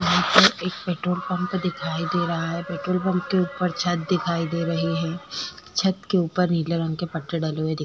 यहाँ पर एक पेट्रोल पंप दिखाई दे रहा है पेट्रोल पंप के उपर छत्त दिखाई दे रही है छत्त के उपर नीले रंग के कपड़े डले हुए दिख --